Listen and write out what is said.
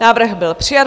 Návrh byl přijat.